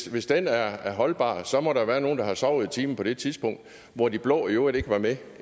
hvis den er holdbar må der være nogle der har sovet i timen på det tidspunkt hvor de blå i øvrigt ikke var med